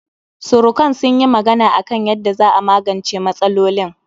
Surukan sun yi magana a kan yanda za'a magance matsalolin